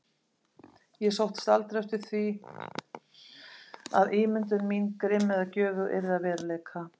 Ég sóttist aldrei eftir því að ímyndun mín, grimm eða göfug, yrði að veruleika.